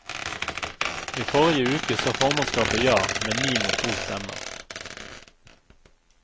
I forrige uke sa formannskapet ja med ni mot to stemmer.